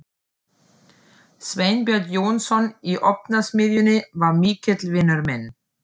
Sveinbjörn Jónsson í Ofnasmiðjunni var mikill vinur minn.